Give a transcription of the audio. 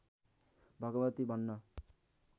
भगवती भन्न